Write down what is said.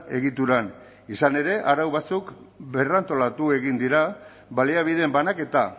egituran izan ere arau batzuk berrantolatu egin dira baliabideen banaketa